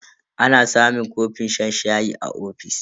Ana samun kofin shan shayi a ofis.